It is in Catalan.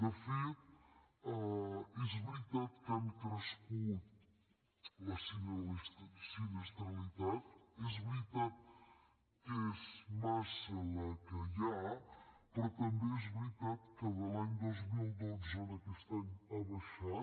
de fet és veritat que ha crescut la sinistralitat és veritat que és massa la que hi ha però també és veritat que de l’any dos mil dotze a aquest any ha baixat